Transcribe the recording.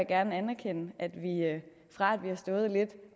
gerne anerkende at vi fra at vi har stået lidt